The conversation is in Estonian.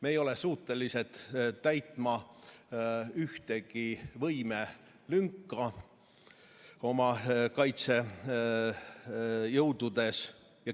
Me ei ole suutelised täitma ühtegi võimelünka oma kaitsejõududes.